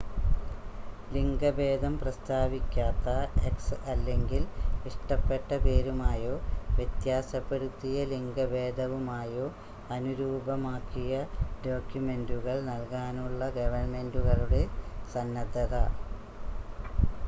ലിംഗഭേദം പ്രസ്താവിക്കാത്ത x അല്ലെങ്കിൽ ഇഷ്ടപ്പെട്ട പേരുമായോ വ്യത്യാസപ്പെടുത്തിയ ലിംഗഭേദവുമായോ അനുരൂപമാക്കിയ ഡോക്യുമെന്റുകൾ നൽകാനുള്ള ഗവൺമെന്റുകളുടെ സന്നദ്ധത